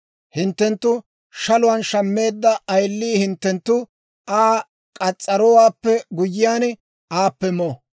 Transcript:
Hinttenttu shaluwaan shammeedda ayilii hinttenttu Aa k'as's'arowaappe guyyiyaan aappe mo.